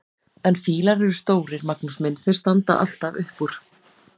En fílar eru stórir, Magnús minn, þeir standa alltaf upp úr!